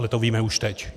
Ale to víme už teď.